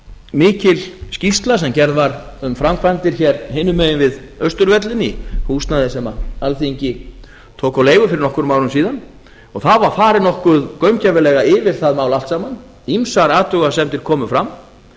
mikil skýrsla sem gerð var um framkvæmdir hér hinum megin við austurvöllinn í húsnæði sem alþingi tók á leigu fyrir nokkrum árum síðan og það var farið nokkuð gaumgæfilega yfir það mál allt saman ýmsar athugasemdir komu fram